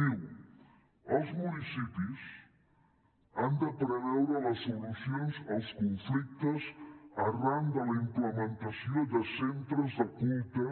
diu els municipis han de preveure les solucions als conflictes arran de la implementació de centres de culte